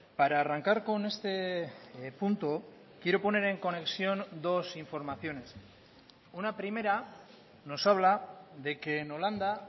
para arrancar con este punto quiero poner en conexión dos informaciones una primera nos habla de que en holanda